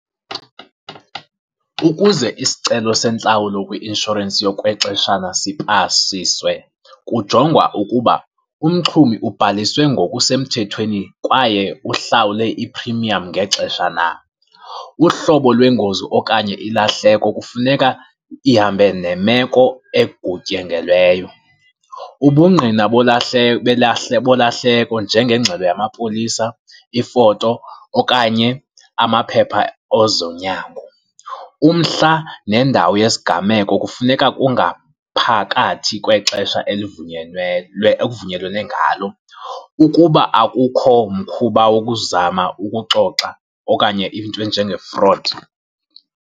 Ukuze isicelo sentlawulo kwi-inshorensi yokwexeshana sipasiswe kujongwa ukuba umxhumi ubhaliswe ngokusemthethweni kwaye uhlawule i-premium ngexesha na. Uhlobo lwengozi okanye ilahleko kufuneka ihambe nemeko egutyengelweyo. Ubungqina bolahleko njengengxelo yamapolisa, ifoto okanye amaphepha ozonyango, umhla nendawo yesigameko kufuneka kungaphakathi kwexesha elivunyelwe, ekuvunyelwene ngalo ukuba akukho mkhuba wokuzama ukuxoxa okanye into njenge-fraud.